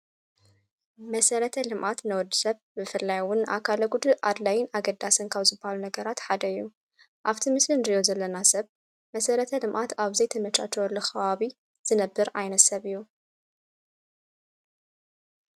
መሰረተ ልምዓት ንወድ ሰብ ብፈላይውን ኣካለጕድ ኣድላይን ኣገዳሰንካው ዝብሃሉ ነገራት ሓደዩ ።ኣብቲ ምስል ንድርዮ ዘለና ሰብ መሠረተ ልምኣት ኣብዘይ ተመሻ ተወሉ ኸዋቢ ዝነብር ዓይነት ሰብ እዩ።